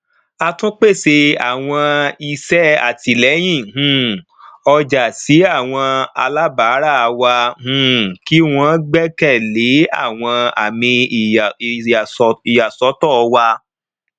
a tún pèsè àwọn iṣẹ àtìlẹyìn um ọjà sí àwọn alábárà wa um kí wọn gbẹkẹlé àwọn àmì ìyàsọtọ wa